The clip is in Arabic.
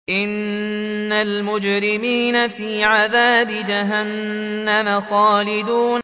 إِنَّ الْمُجْرِمِينَ فِي عَذَابِ جَهَنَّمَ خَالِدُونَ